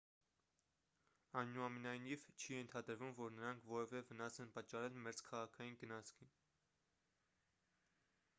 այնուամենայնիվ չի ենթադրվում որ նրանք որևէ վնաս են պատճառել մերձքաղաքային գնացքին